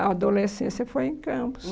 A adolescência foi em Campos.